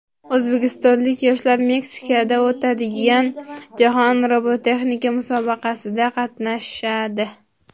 O‘zbekistonlik yoshlar Meksikada o‘tadigan Jahon robototexnika musobaqasida qatnashadi.